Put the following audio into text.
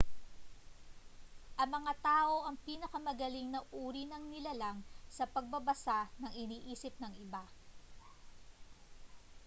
ang mga tao ang pinakamagaling na uri ng nilalang sa pagbabasa ng iniisip ng iba